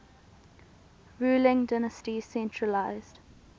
ruling dynasty centralised